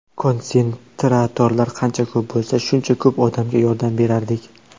Konsentratorlar qancha ko‘p bo‘lsa, shuncha ko‘p odamga yordam berardik.